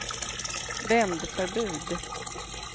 vändförbud